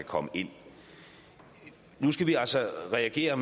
komme ind ad nu skal vi altså reagere